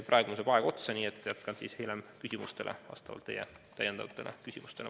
Praegu saab aeg otsa, nii et jätkan vastamist küsimuste voorus vastavalt teie küsimustele.